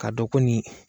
K'a dɔn ko nin